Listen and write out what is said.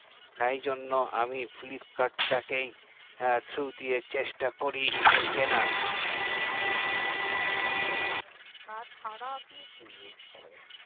তাই জন্য আমি flipkart টা কে through দিয়ে চেষ্টা করি যে কেনার ও তাছাড়া আপনি কি use করেন কেনার জন্যে